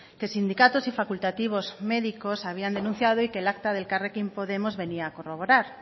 que sindicatos y facultativos médicos habían denunciado y que el acta de elkarrekin podemos venía a corroborar